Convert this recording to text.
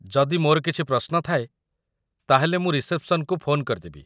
ଯଦି ମୋର କିଛି ପ୍ରଶ୍ନ ଥାଏ, ତା'ହେଲେ ମୁଁ ରିସେପ୍‌ସନ୍‌କୁ ଫୋନ୍ କରିଦେବି ।